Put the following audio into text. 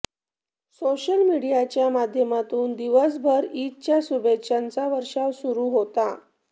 social मीडियाच्या माध्यमातून दिवसभर ईदच्या शुभेच्छांचा वर्षाव सुरू होता